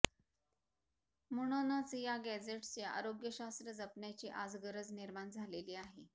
म्हणूनच या गॅझेट्सचे आरोग्यशास्त्र जपण्याची आज गरज निर्माण झालेली आहे